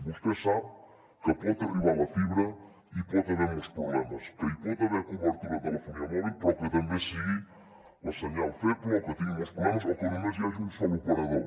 vostè sap que pot arribar la fibra i hi pot haver molts problemes que hi pot haver cobertura de telefonia mòbil però que també sigui el senyal feble o que tingui molts problemes o que només hi hagi un sol operador